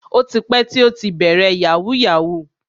O ti pẹ́ tí ó ti bẹ̀rẹ̀ yahoo yahoo.